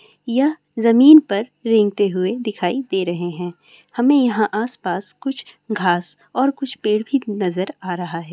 यह ज़मीन पर रेंगते हुए दिखाई दे रहे है हमें यहाँ आस पास कुछ घास और कुछ पेड़ भी नज़र आ रहे है|